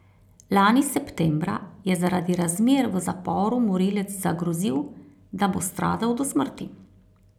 Lani septembra je zaradi razmer v zaporu morilec zagrozil, da bo stradal do smrti.